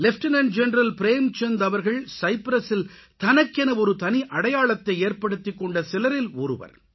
lieutenant general Premchand அவர்கள் சைப்ரசில் தனக்கென ஒரு தனி அடையாளத்தை ஏற்படுத்திக்கொண்ட சிலரில் ஒருவர்